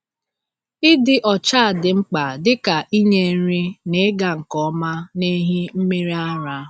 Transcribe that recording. Ịdị ọcha dị mkpa dịka inye nri n’ịga nke ọma n’ehi mmiri ara.